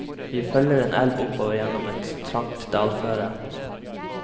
Vi følger en elv oppover gjennom et trangt dalføre.